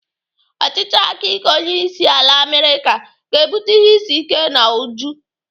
Ọchịchị aka ike onyeisiala Amerịka ga-ebute ihe isi ike na ụjọ.